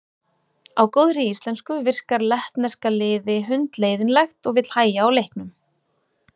Á góðri íslensku virkar lettneska liði hundleiðinlegt og vill hægja á leiknum.